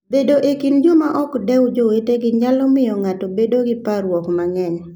Bedo e kind joma ok dew jowetegi nyalo miyo ng'ato obed gi parruok mang'eny.